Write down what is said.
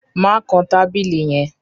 Mà kàn tabílì yẹ̀n!